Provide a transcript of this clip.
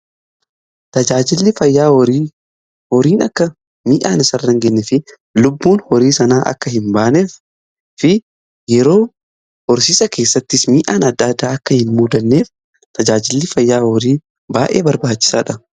Tajaajilli fayyaa horiin akka miidhaan isaarra hin genyee fi lubbuun horii sanaa akka hin baanee fi yeroo horsiisa keessattis mii'aan adda addaa akka hin muudanneef tajaajilli fayyaa horii baa'ee barbaachisaadha